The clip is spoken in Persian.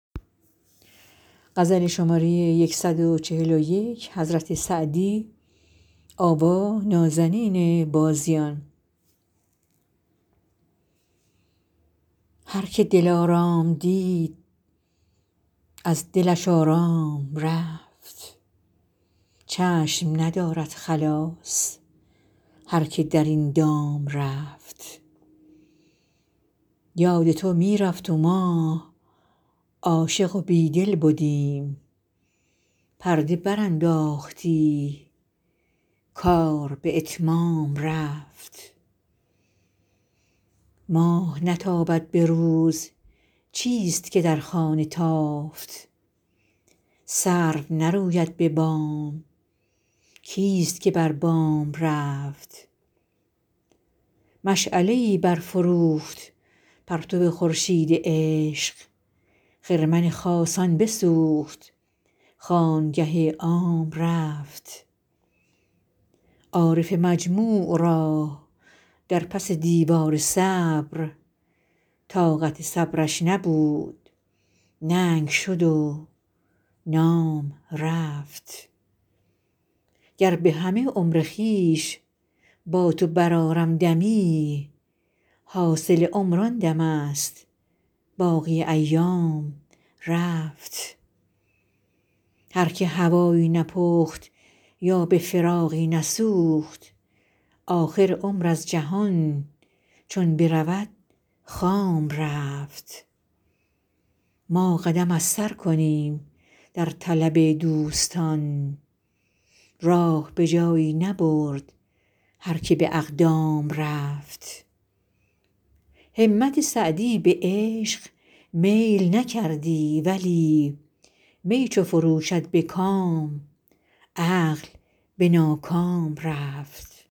هر که دلارام دید از دلش آرام رفت چشم ندارد خلاص هر که در این دام رفت یاد تو می رفت و ما عاشق و بیدل بدیم پرده برانداختی کار به اتمام رفت ماه نتابد به روز چیست که در خانه تافت سرو نروید به بام کیست که بر بام رفت مشعله ای برفروخت پرتو خورشید عشق خرمن خاصان بسوخت خانگه عام رفت عارف مجموع را در پس دیوار صبر طاقت صبرش نبود ننگ شد و نام رفت گر به همه عمر خویش با تو برآرم دمی حاصل عمر آن دمست باقی ایام رفت هر که هوایی نپخت یا به فراقی نسوخت آخر عمر از جهان چون برود خام رفت ما قدم از سر کنیم در طلب دوستان راه به جایی نبرد هر که به اقدام رفت همت سعدی به عشق میل نکردی ولی می چو فرو شد به کام عقل به ناکام رفت